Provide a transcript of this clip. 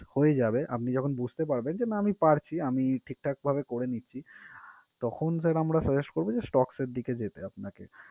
হয়ে যাবে, আপনি যখন বুঝতে পারবেন যে না আমি পারছি আমি ঠিকঠাকভাবে করে নিচ্ছি তখন sir আমরা suggest করবো যে stocks এর দিকে যেতে আপনাকে।